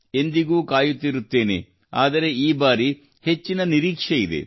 ಎಂದಿಗೂ ಕಾಯುತ್ತಿರುತ್ತೇನೆ ಆದರೆ ಈ ಬಾರಿ ಹೆಚ್ಚಿನ ನಿರೀಕ್ಷೆಯಿದೆ